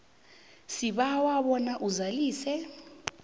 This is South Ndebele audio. sibawa bona uzalise